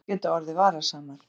Aðstæður geta orðið varasamar